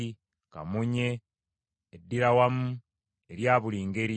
kamunye, eddiirawamu erya buli ngeri,